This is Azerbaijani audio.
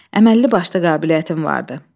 Əməlli başlı qabiliyyətin vardı.